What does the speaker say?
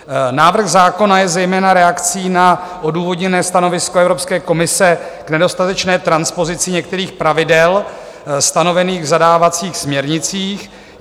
Návrh zákona je zejména reakcí na odůvodněné stanovisko Evropské komise k nedostatečné transpozici některých pravidel stanovených v zadávacích směrnicích.